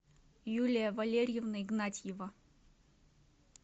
юлия валерьевна игнатьева